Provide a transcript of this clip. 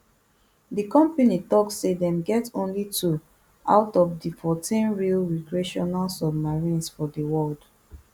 di company tok say dem get only two out of di fourteen real recreational submarines for di world